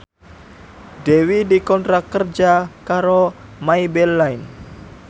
Dewi dikontrak kerja karo Maybelline